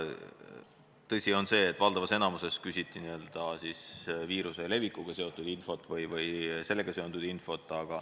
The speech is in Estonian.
Tõsi on see, et valdavas enamikus küsiti viiruse levikuga seotud infot või sellega seonduvat infot.